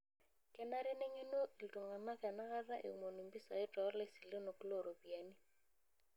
Kenare neng'genu iltung'anak enakata eomonu mpisai too lasilenok looropiyiani.